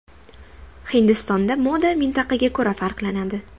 Hindistonda moda mintaqaga ko‘ra farqlanadi.